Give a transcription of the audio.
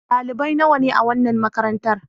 Dalibai nawa ne a wannan makarantar.